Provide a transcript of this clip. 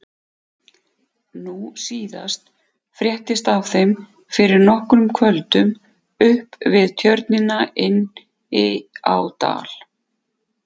Nú síðast fréttist af þeim fyrir nokkrum kvöldum upp við Tjörnina inni á Dal.